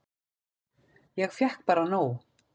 Ég fékk bara nóg.